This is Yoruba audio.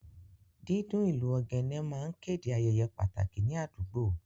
Dídún ìlù ogene máa ń kéde ayẹyẹ pàtàkì ní àdúgbò